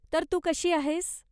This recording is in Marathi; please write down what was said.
तर, तू कशी आहेस?